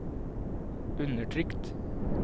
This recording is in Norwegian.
undertrykt